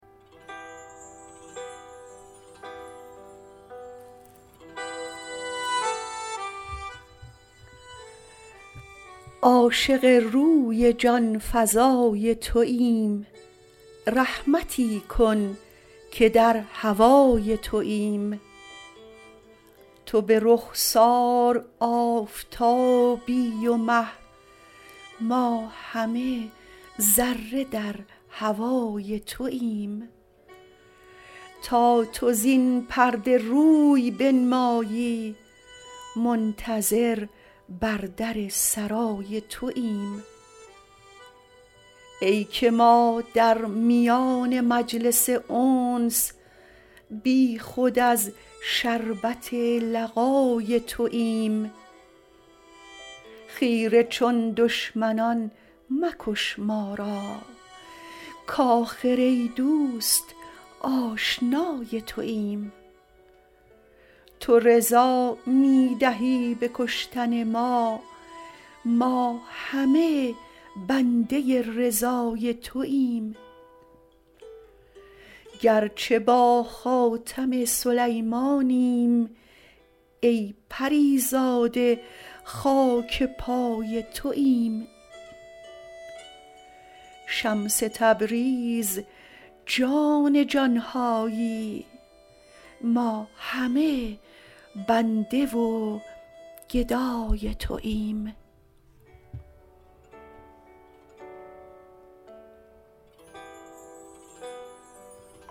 عاشق روی جان فزای توییم رحمتی کن که در هوای توییم تو به رخسار آفتابی و مه ما همه ذره در هوای توییم تا تو زین پرده روی بنمایی منتظر بر در سرای توییم ای که ما در میان مجلس انس بیخود از شربت لقای توییم خیره چون دشمنان مکش ما را کآخر ای دوست آشنای توییم تو رضا می دهی به کشتن ما ما همه بنده رضای توییم گرچه با خاتم سلیمانیم ای پری زاده خاک پای توییم شمس تبریز جان جان هایی ما همه بنده و گدای توییم